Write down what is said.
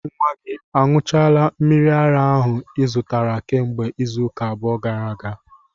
Nwa gị añụchaala mmiri ara ehi ahu ị zụtara kemgbe izuụka abụọ gara aga?